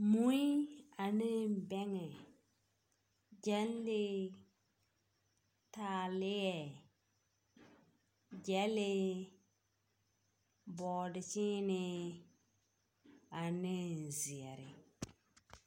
Mui ane bɛŋɛ, gyɛlee, taaleɛ, gyɛlee, bɔɔdekyeenee ane zeɛre.